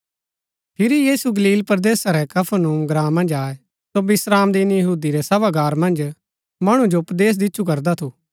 फिरी यीशु गलील परदेसा रै कफरनहूम ग्राँ मन्ज आये सो विश्रामदिन यहूदी रै सभागार मन्ज मणु जो उपदेश दिच्छु करदा थू